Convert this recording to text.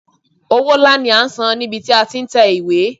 Owó ńlá ni a san níbi tí a ti tẹ ìwé.